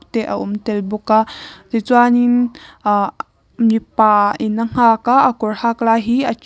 te a awm tel bawk a tichuanin ah mipa in a nghak a a kawr hak lai hi a tial--